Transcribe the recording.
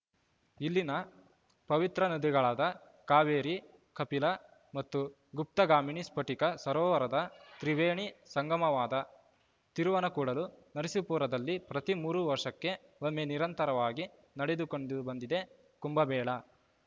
ಇಲ್ಲಿನ ಪವಿತ್ರ ನದಿಗಳಾದ ಕಾವೇರಿ ಕಪಿಲಾ ಮತ್ತು ಗುಪ್ತಗಾಮಿನಿ ಸ್ಫಟಿಕ ಸರೋವರದ ತ್ರಿವೇಣಿ ಸಂಗಮವಾದ ತಿರುವನಕೂಡಲು ನರಸೀಪುರದಲ್ಲಿ ಪ್ರತಿ ಮೂರು ವರ್ಷಕ್ಕೆ ಒಮ್ಮೆ ನಿರಂತರವಾಗಿ ನಡೆದುಕೊಂಡು ಬಂದಿದೆ ಕುಂಭಮೇಳ